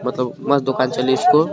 बताऊ मस्त दुकान चली इसको--